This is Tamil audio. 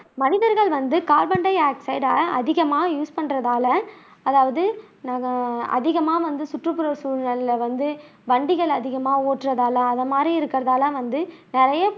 மனிதர்கள் வந்து கார்பன் டை ஆக்ஸைட அதிகமா யூஸ் பண்றதால அதாவது நம்ம அதிகமா வந்து சுற்றுப்புற சூழல்ல வந்து வண்டிகள் அதிகமா ஓட்டுறதால அது மாதிரி இருக்கதால வந்து நிறைய